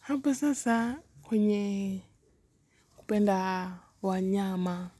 Hapa sasa kwenye kupenda wanyama